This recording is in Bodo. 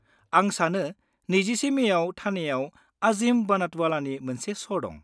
आं सानो 21 मेयाव ठाणेयाव आजिम बनटवालानि मोनसे श' दं।